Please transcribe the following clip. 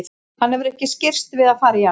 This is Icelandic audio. Hann hefur ekki skirrst við að fara í hana.